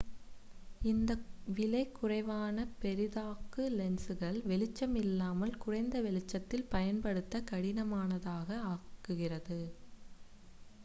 இந்த விலை குறைவான பெரிதாக்கு லென்ஸ்கள் வெளிச்சம் இல்லாமல் குறைந்த வெளிச்சத்தில் பயன்படுத்த கடினமானதாக ஆக்குகிறது